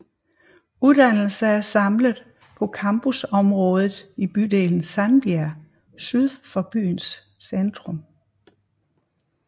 Uddannelser er samlet på campusområdet i bydelen Sandbjerg syd for byens centrum